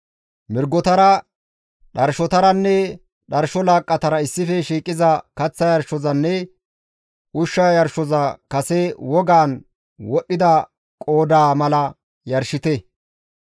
Mirgotara, dharshotaranne dharsho laaqqatara issife shiiqiza kaththa yarshozanne ushsha yarshoza kase wogaan wodhdhida qoodaa mala yarshite.